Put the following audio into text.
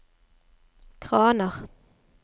kraner